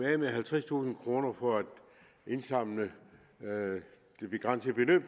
af med halvtredstusind kroner for at indsamle de begrænsede beløb